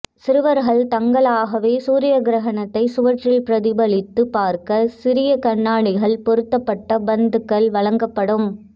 சிறுவா்கள் தாங்களாகவே சூரிய கிரகணத்தை சுவற்றில் பிரதிபலித்து பாா்க்க சிறிய கண்ணாடிகள் பொருத்தப்பட்ட பந்துகள் வழங்கப்படும்